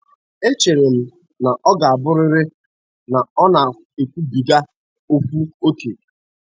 Echere m na ọ ga-abụrịrị na ọ na-ekwubiga okwu ókè.